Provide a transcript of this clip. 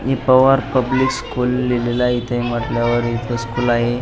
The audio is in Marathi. हे पवार पब्लिक स्कूल लिहलेल आहे इथे म्हणतल्या वर इथ स्कूल आहे.